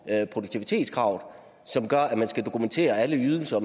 her produktivitetskrav som gør at man skal dokumentere alle ydelser